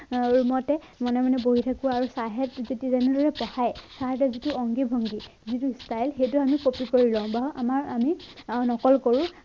room তে মনে মনে বহি থাকো আৰু ছাৰহঁত~ ছাৰহঁতৰ যিটো অংগী ভংগী যিটো style সেইটো আমি copy কৰি লওঁ বা আমাৰ~আমি আৰু নকল কৰো।